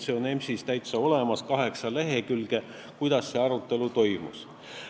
See on EMS-is olemas, kaheksa lehekülge, võite lugeda, kuidas see arutelu toimus.